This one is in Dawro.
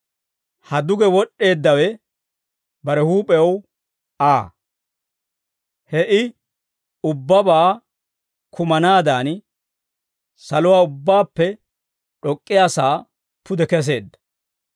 Ha duge wod'd'eeddawe bare huup'ew Aa; he I ubbabaa kumanaadan, saluwaa ubbaappe d'ok'k'iyaasaa pude keseedda.